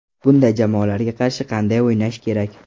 Bunday jamoalarga qarshi qanday o‘ynash kerak?